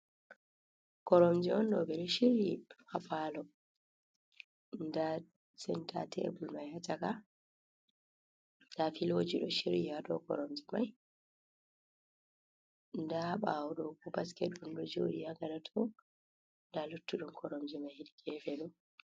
Koromje on ɗo ɓe ɗo shiryi ha paalo, nda senta tebul mai ha chaka, nda filoji ɗo shiryi ha dow koromje mai, nda ɓaawo ɗo bo basket ɗum ɗo jooɗi ha gaɗa to, nda luttuɗum koromje mai hedi geefe ɗo.